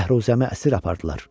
Bəhruzəmi əsir apardılar.